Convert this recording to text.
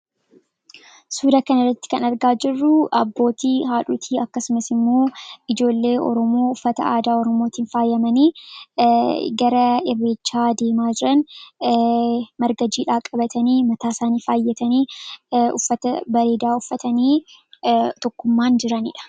Suura kana irratti kan argaa jirruu abbootii haadhotii akkasumas immoo ijoollee ormoo uffata aadaa ormootiin faayyamanii gara irreechaa deemaa jiran marga jiidhaa qabatanii .mataasaanii faayyatanii uffata baleedaa uffatanii tokkummaan jiraniidha